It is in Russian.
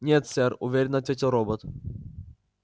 нет сэр уверенно ответил робот